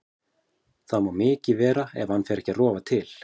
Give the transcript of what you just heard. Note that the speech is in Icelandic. Það má mikið vera ef hann fer ekki að rofa til.